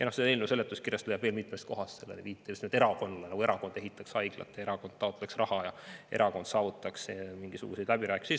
Eelnõu seletuskirjast leiab veel mitmest kohast viiteid sellele, just nagu erakond ehitaks haiglat, erakond oleks taotlenud raha ja erakond oleks saavutanud midagi läbirääkimistel.